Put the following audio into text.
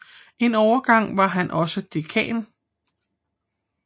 En overgang var han også dekan